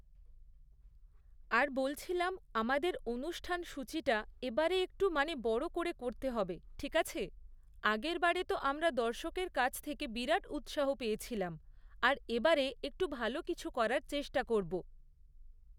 আর বলছিলাম, আমাদের অনুষ্ঠান সূ্চিটা এবারে একটু মানে বড় করে করতে হবে, ঠিক আছে? আগেরবারে তো আমরা দর্শকের কাছ থেকে বিরাট উৎসাহ পেয়েছিলাম, আর এবারে একটু ভালো কিছু করার চেষ্টা করবো।